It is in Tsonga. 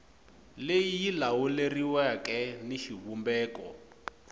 leyi yi lawuleriweke ni xivumbeko